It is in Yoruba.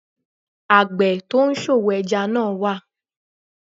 Àgbẹ̀ tó ń ṣòwò ẹja náà wà